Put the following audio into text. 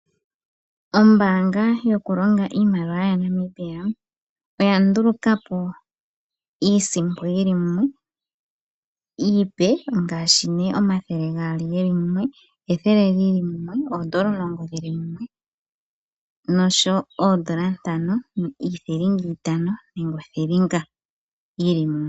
Ombaanga yokulonga iimaliwa yaNamibia oya nduluka po iisimpo yi li mumwe iipe ngaashi omathele gaali ge li mumwe, ethele li li mumwe, oodola omulongo dhi li mumwe noshowo oodola ntano, iithilinga itano nenge othilinga yi li mumwe.